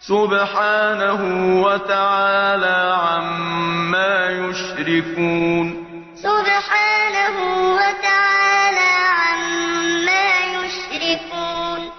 ۚ سُبْحَانَهُ وَتَعَالَىٰ عَمَّا يُشْرِكُونَ وَيَعْبُدُونَ مِن دُونِ اللَّهِ مَا لَا يَضُرُّهُمْ وَلَا يَنفَعُهُمْ وَيَقُولُونَ هَٰؤُلَاءِ شُفَعَاؤُنَا عِندَ اللَّهِ ۚ قُلْ أَتُنَبِّئُونَ اللَّهَ بِمَا لَا يَعْلَمُ فِي السَّمَاوَاتِ وَلَا فِي الْأَرْضِ ۚ سُبْحَانَهُ وَتَعَالَىٰ عَمَّا يُشْرِكُونَ